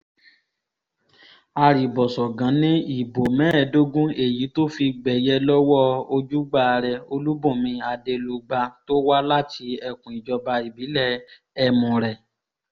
arìbọ̀ṣọ̀gàn ni ìbò mẹ́ẹ̀ẹ́dógún èyí tó fi gbẹ̀yẹ lọ́wọ́ ojúgbà rẹ olùbùnmi adelugba tó wá láti ẹkùn ìjọba ìbílẹ̀ ẹmùrè